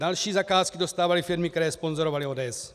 Další zakázky dostávaly firmy, které sponzorovaly ODS.